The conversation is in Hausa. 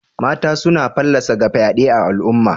Mataye suna fallasa ga fyade a'alumma.